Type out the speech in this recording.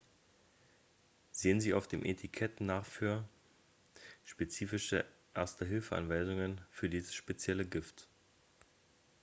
sehen sie auf dem etikett nach für spezifische erste-hilfe-anweisungen für dieses spezielle gift